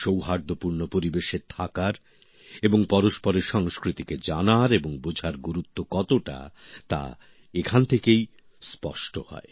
সৌহার্দ্যপূর্ণ পরিবেশে থাকার এবং পরস্পরের সংস্কৃতিকে জানার এবং বোঝার গুরুত্ব কতটাতা এখান থেকেই স্পষ্ট হয়